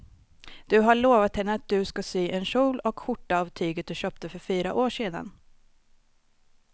Du har lovat henne att du ska sy en kjol och skjorta av tyget du köpte för fyra år sedan.